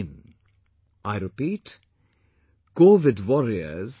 in ... I repeat covidwarriors